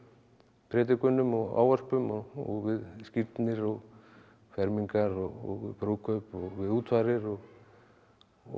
predikunum og ávörpum og við skírnir og fermingar og brúðkaup og við útfarir og og